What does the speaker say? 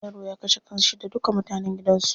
Wani yaro ya kashe kanshi da duka mutanen gidan su.